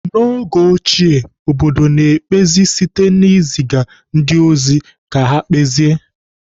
N'oge ochie, obodo na-ekpezi site na iziga ndị ozi ka ha kpezie.